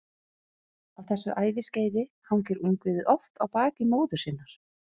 Á þessu æviskeiði hangir ungviðið oft á baki móður sinnar.